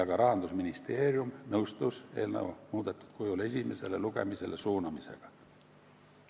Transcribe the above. Ka Rahandusministeerium nõustus eelnõu muudetud kujul esimesele lugemisele suunamisega.